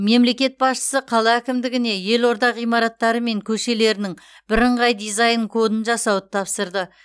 мемлекет басшысы қала әкімдігіне елорда ғимараттары мен көшелерінің бірыңғай дизайн кодын жасауды тапсырды